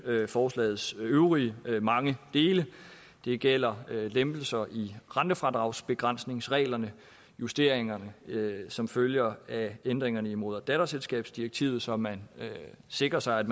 forslagets øvrige mange dele det gælder lempelser i rentefradragsbegrænsningsreglerne justeringerne som følger af ændringerne i moder og datterselskabsdirektivet så man sikrer sig at